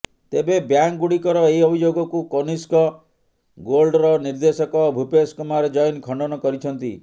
ତେବେ ବ୍ୟାଙ୍କଗୁଡ଼ିକର ଏହି ଅଭିଯୋଗକୁ କନିଷ୍କ ଗୋଲ୍ଡର ନିର୍ଦ୍ଦେଶକ ଭୁପେଶ କୁମାର ଜୈନ ଖଣ୍ଡନ କରିଛନ୍ତି